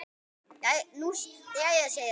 Nú jæja segir hann.